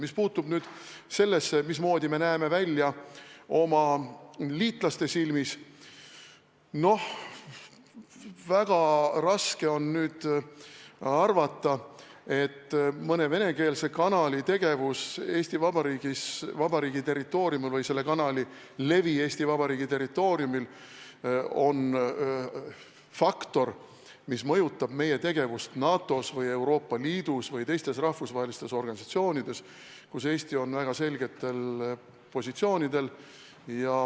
Mis puutub sellesse, mismoodi me oma liitlaste silmis välja näeme, siis väga raske on arvata, et mõne venekeelse kanali tegevus Eesti Vabariigi territooriumil või selle kanali levi Eesti Vabariigi territooriumil on faktor, mis mõjutab meie tegevust NATO-s või Euroopa Liidus või teistes rahvusvahelistes organisatsioonides, kus Eesti on väga selgetel positsioonidel.